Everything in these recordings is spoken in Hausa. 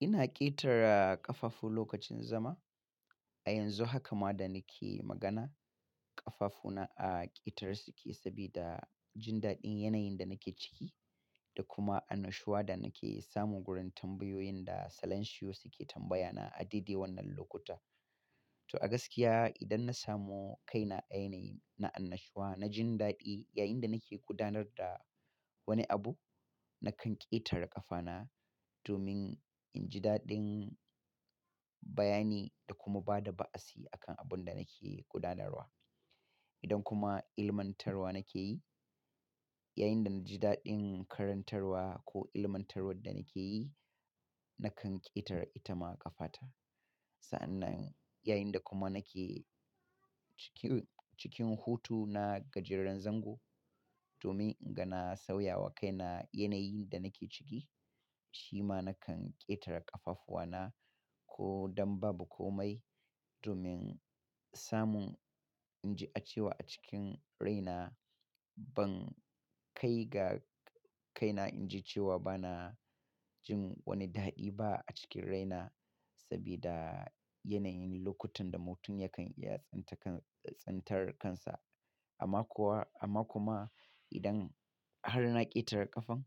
Ina ƙetara ƙafafu lokacin zama. A yanzu haka ma da nake magana, ƙafafuna a ƙetare suke sabida jin daɗin yanayin da nake ciki da kuma annashuwa da nake samu gurin tambayoyin da salansiyo suke tambaya na a dade wannan lokuta. To a gaskiya idan na samu kaina a yanayi na annashuwa, na jin daɗi yayinda nake gudanar da wani abu, na kan ƙetare ƙafana domin in ji daɗin bayani da kuma bada ba'asi akan abun da nake gudanarwa. Idan kuma ilmantarwa nake yi, yayinda na ji daɗin karantarwa ko ilmantarwar da nake yi, na kan ƙetare ita ma ƙafata. Sa'annan yayinda kuma nake ciki, cikin hutu na gajeren zango domin in gana sauyawa kaina yanayin da nake ciki, shi ma na kan ƙetare ƙafafuwana. Ko dan babu komai domin samun in ji cewa a cikin raina ban kai ga kaina in ji cewa bana jin wani daɗi ba a cikin raina sabida yanayin lokutan da mutum yakan iya tsinta kan, tsintar kansa. Amma kuwa, amma kuma idan har na ƙetare ƙafan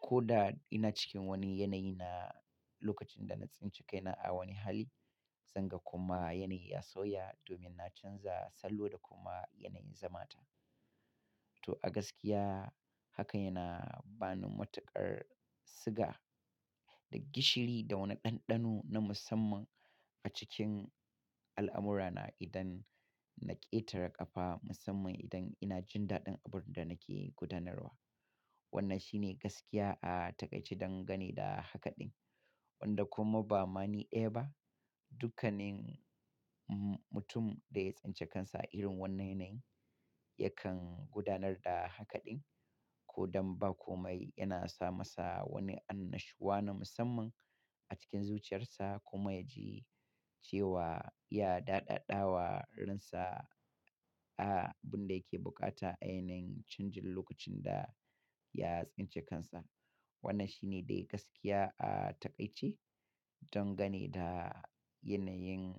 ko da ina cikin wani yanayi na lokacin da na tsince kaina a wani hali, zanga kuma yanayi ya sauya domin na canza sallo da kuma yanayin zamata. To a gaskiya haka yana bani matuƙar siga da gishiri da wani ɗanɗano na musamman a cikin al'amura na idan na ƙetare ƙafa musamman idan ina jin daɗin abun da nake gudanarwa. Wannan shi ne gaskiya a taƙaice don gane da hakaɗin wanda kuma bama ni daya ba. Dukkanin mutum da ya tsince kansa a irin wannan yanayi yakan gudanar da hakaɗin ko dan ba komai yana samasa wani annashuwa na musamman a cikin zuciyarsa kuma ya ji cewa ya daɗaɗawa ransa a abun da yake bukata a yanayin canjin lokacin da ya tsince kansa. Wannan shine dai gaskiya a taƙaice don gane da yanayin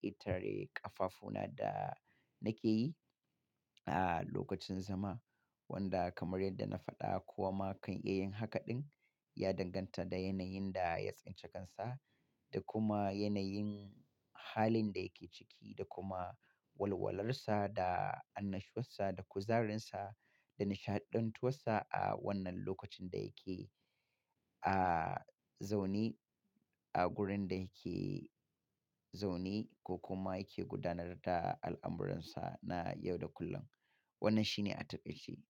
ƙetare ƙafafuna da nake yi a lokacin zama wanda kamar yadda na faɗa ko wa ma kan iya yin hakaɗin ya danganta da yanayin da ya tsince kansa da kuma yanayin halin da yake ciki da kuma walwalar sa da annashuwarsa da kuzarinsa da nishaɗantuwarsa a wannan lokacin da yake a zaune a gurin da yake zaune ko kuma yake gudanar da al'amuransa na yau da kullum. Wannan shi ne a taƙaice.